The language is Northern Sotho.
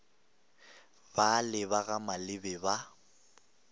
bale ba ga mabele ba